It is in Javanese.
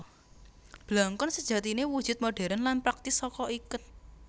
Blangkon sejatiné wujud modhèrn lan praktis saka iket